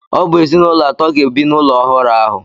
Ọ bụ ezinụlọ atọ ga-ebi n'ụlọ ọhụrụ ahụ.